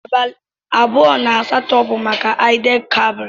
Abali abụọ na asatọ bu maka id el kabir.